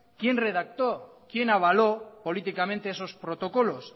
quién redactó quién avaló políticamente esos protocolos